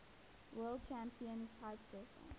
world champion kitesurfer